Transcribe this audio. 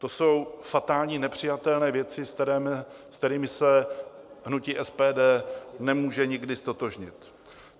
To jsou fatální, nepřijatelné věci, se kterými se hnutí SPD nemůže nikdy ztotožnit.